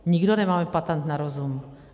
Nikdo nemáme patent na rozum.